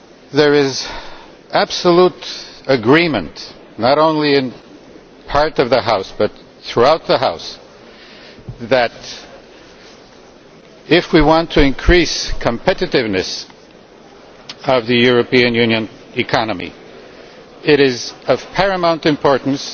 There is absolute agreement not only in part of the House, but throughout the House, that if we want to increase the competitiveness of the European Union economy it is of paramount importance